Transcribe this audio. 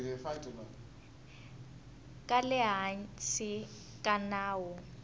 ka le hansi ka nawu